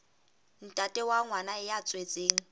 ntate wa ngwana ya tswetsweng